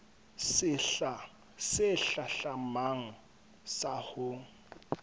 sehla se hlahlamang sa ho